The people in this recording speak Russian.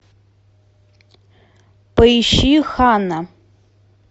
поищи ханна